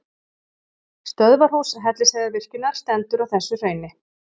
Stöðvarhús Hellisheiðarvirkjunar stendur á þessu hrauni.